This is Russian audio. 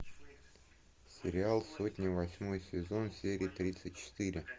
сериал сотня восьмой сезон серия тридцать четыре